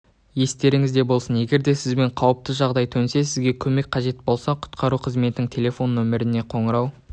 естеріңізде болсын егерде сізбен қауіпті жағдай төнсе сізге көмек қажет болса құтқару қызметінің телефон нөміріне қоңырау